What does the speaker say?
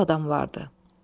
Çox adam vardı.